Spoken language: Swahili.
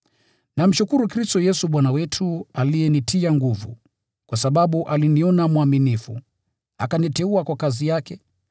Namshukuru Kristo Yesu Bwana wetu, aliyenitia nguvu, kwa sababu aliniona mwaminifu, akaniteua kwa kazi yake.